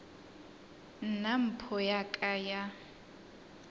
nna mpho ya ka ya